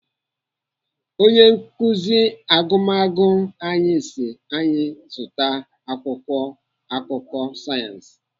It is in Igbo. Onye nkuzi agụmagụ anyị si anyị zụta akwụkwọ akụkọ sayensị.